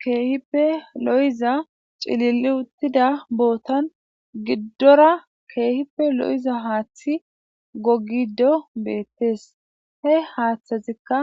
Keehippe lo7iza cilili uttida bootan giddora keehippe lo7iza haaththi gogido beettes he haaththazikka